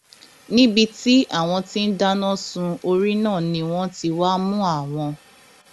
níbi tí àwọn tí ń dáná sun orí náà ni wọn ti wáá mú àwọn